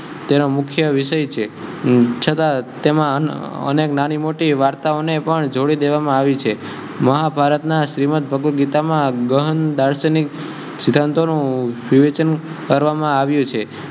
તેના મુખ્ય વીસય છે છ્તા તેમા અનેક નાની મોટી વાર્તાઑ ને પણ જોડી દેવમા આવ્યુ છે મહાભારત ના શ્રીમદ્ભગ્વતગીતા મા ઘહન દાર્સનિક સિદ્ધંતોનુ વિવ્ચન કરવામા આવ્યુ છે